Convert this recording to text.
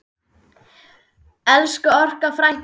Elsku Olla frænka.